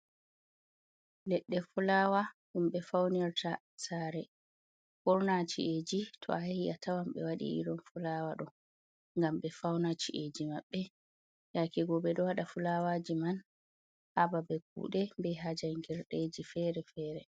Leɗɗe fulaawa ɗum ɓe fawnirta saare, ɓurna ci’eeji to a yahi a tawan ɓe waɗi irin fulaawa ɗo ngam ɓe fawna ci’eeji maɓɓe, yaake go ɓe ɗo waɗa fulaawaaji man haa babe kuuɗe bee haa janngirdeji feere-feere.